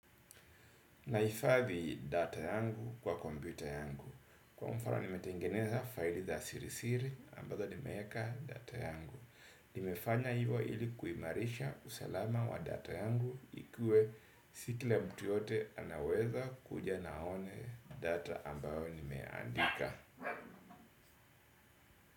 Nahifadhi data yangu kwa kompiyuta yangu. Kwa mfano ni metengeneza faili za sirisiri ambazo ni meeka data yangu. Nimefanya hivyo ili kuimarisha usalama wa data yangu ikue si kila mtu yoyote anaweza kuja na aone data ambayo nimeandika.